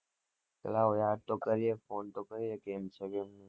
કે લાવો યાદ તો કરીએ ફોન તો કરીએ કે કેમ છે કે કેવું